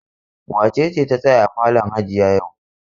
Wace ce ta tsaya a falon hajiya yau?